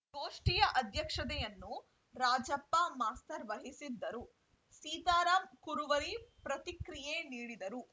ಗೋಷ್ಠಿಯ ಅಧ್ಯಕ್ಷತೆಯನ್ನು ರಾಜಪ್ಪ ಮಾಸ್ತರ್‌ ವಹಿಸಿದ್ದರು ಸೀತಾರಾಮ್‌ ಕುರುವರಿ ಪ್ರತಿಕ್ರಿಯೆ ನೀಡಿದರು